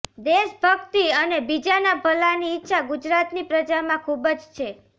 દેશભક્તિ અને બીજાના ભલાની ઈચ્છા ગુજરાતની પ્રજામાં ખૂબજ છે